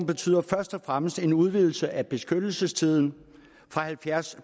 betyder først og fremmest en udvidelse af beskyttelsestiden fra halvtreds